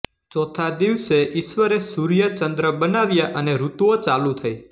ચોથા દિવસે ઈશ્વરે સૂર્ય ચન્દ્ર બનાવ્યા અને ઋતુઓ ચાલુ થઈ